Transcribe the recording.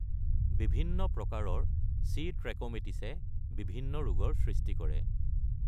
বিভিন্ন প্ৰকাৰৰ C. Trachomatis বিভিন্ন ৰোগৰ সৃষ্টি কৰে।